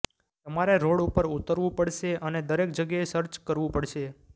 તમારે રોડ ઉપર ઉતરવું પડશે અને દરેક જગ્યાએ સર્ચ કરવું પડશે